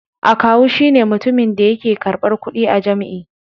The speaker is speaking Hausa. Akawu shi ne mutumin da yake karɓar kuɗi a jam'i.